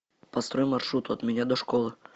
построй маршрут от меня до школы